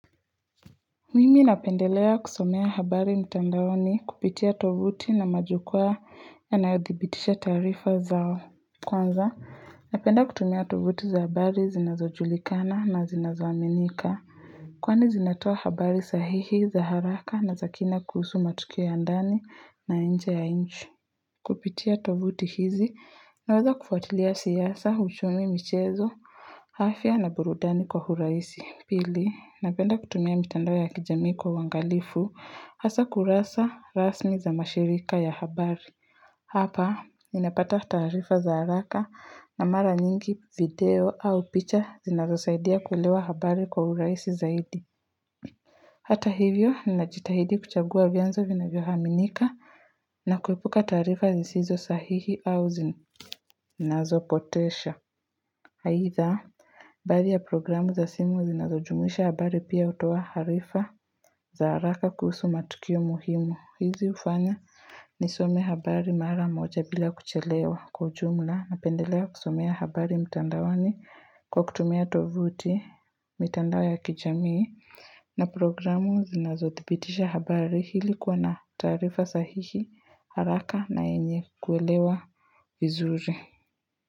Mimi napendelea kusomea habari mtandaoni kupitia tovuti na majukwa yanayodhibitisha tarifa zao. Kwanza napenda kutumia tovuti za habari zinazo julikana na zinazo aminika Kwani zinatoa habari sahihi za haraka na za kini kuhusu matukio ya ndani na nje ya nchi. Kupitia tovuti hizi naweza kufuatilia siasa, uchumi, michezo, afya na burudani kwa urahisi. Pili, napenda kutumia mitandao ya kijamii kwa uangalifu hasa kurasa rasmi za mashirika ya habari. Hapa, ninapata tarifa za haraka na mara nyingi video au picha zinazosaidia kulewa habari kwa urahisi zaidi. Hata hivyo, ninajitahidi kuchagua vyanzo vinavyoaminika na kuepuka tarifa zisizo sahihi au zinazopotesha. Aidha, baadhi ya programu za simu zinazojumisha habari pia hutoa harifa. Za haraka kuhusu matukio muhimu hizi hufanya nisome habari mara moja bila kuchelewa kwa ujumla napendelea kusomea habari mtandaoni kwa kutumia tovuti, mitandao ya kijamii na programu zinazothibitisha habari ili kuwa na tarifa sahihi haraka na yenye kuelewa vizuri.